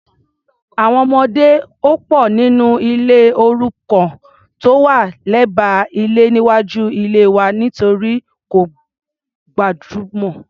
Àwọn ọmọdé ò pò nínú ilé òrukàn tó wà lẹ́gbẹ́ ilé níwájú ilée wa nítorí kò gbajúmọ̀.